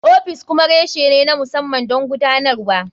Ofis kuma reshe ne na musamman don gudanarwa.